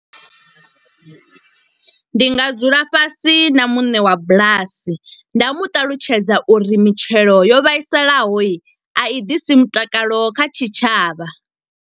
Ndi nga dzula fhasi na muṋe wa bulasi, nda mu ṱalutshedza uri mitshelo yo vhaisalaho i a i ḓisi mutakalo kha tshitshavha.